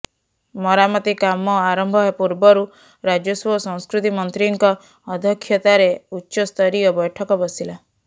ମରାମତି କାମ ଆରମ୍ଭ ପୂର୍ବରୁ ରାଜସ୍ବ ଓ ସଂସ୍କୃତି ମନ୍ତ୍ରୀଙ୍କ ଅଧ୍ୟକ୍ଷତାରେ ଉଚ୍ଚସ୍ତରୀୟ ବ୘ଠକ ବସିଲା